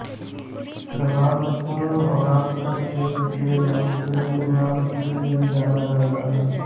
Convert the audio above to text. प्रभासको भास्करक्षेत्र के नामसे भी जाना जाता है